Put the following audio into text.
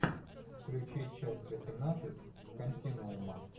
включи часть восемнадцать континуума